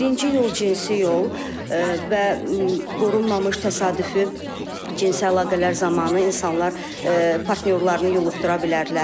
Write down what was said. Birinci yol cinsi yol və qorunmamış təsadüfi cinsi əlaqələr zamanı insanlar partnyorlarını yoluxdura bilərlər.